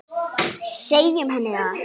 Segjum henni það.